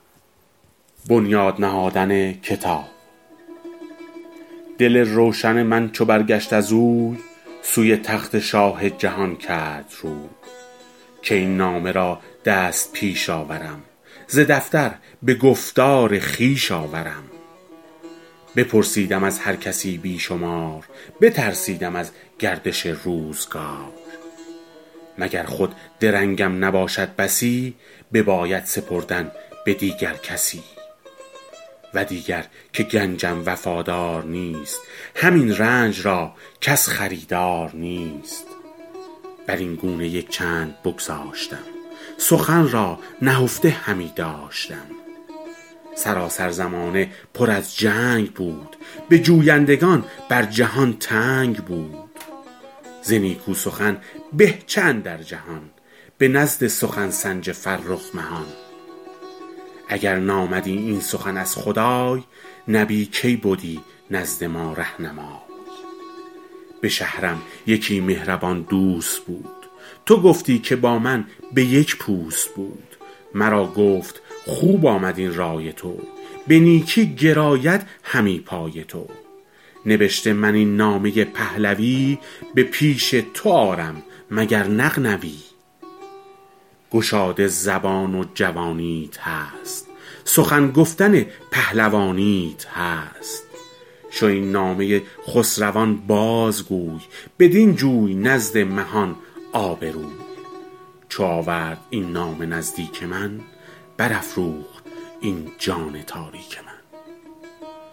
دل روشن من چو برگشت از اوی سوی تخت شاه جهان کرد روی که این نامه را دست پیش آورم ز دفتر به گفتار خویش آورم بپرسیدم از هر کسی بی شمار بترسیدم از گردش روزگار مگر خود درنگم نباشد بسی بباید سپردن به دیگر کسی و دیگر که گنجم وفادار نیست همین رنج را کس خریدار نیست بر این گونه یک چند بگذاشتم سخن را نهفته همی داشتم سراسر زمانه پر از جنگ بود به جویندگان بر جهان تنگ بود ز نیکو سخن به چه اندر جهان به نزد سخن سنج فرخ مهان اگر نامدی این سخن از خدای نبی کی بدی نزد ما رهنمای به شهرم یکی مهربان دوست بود تو گفتی که با من به یک پوست بود مرا گفت خوب آمد این رای تو به نیکی گراید همی پای تو نبشته من این نامه پهلوی به پیش تو آرم مگر نغنوی گشاده زبان و جوانیت هست سخن گفتن پهلوانیت هست شو این نامه خسروان باز گوی بدین جوی نزد مهان آبروی چو آورد این نامه نزدیک من بر افروخت این جان تاریک من